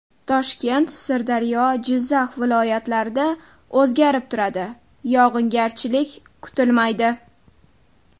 Toshkent, Sirdaryo, Jizzax viloyatlarida o‘zgarib turadi, yog‘ingarchilik kutilmaydi.